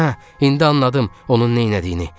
Hə, indi anladım onun neynədiyini.